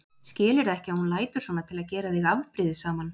Skilurðu ekki að hún lætur svona til að gera þig afbrýðisaman?